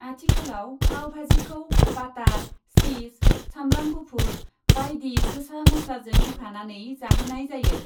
आथिखालाव पावबाजिखौ बाटार, सिस, सामब्राम गुफुर बायदि गोसा मस्लाजों होफानानै जाहोनाय जायो।